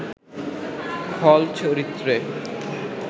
খল চরিত্রে